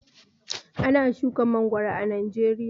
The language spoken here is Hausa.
Ana shuka mangoro a Najeriya.